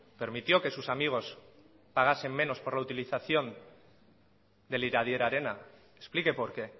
permitió que sus amigos pagasen menos por la utilización del iradier arena explique por qué